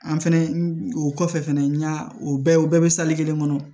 An fɛnɛ o kɔfɛ fɛnɛ n y'a o bɛɛ u bɛɛ be kelen kɔnɔ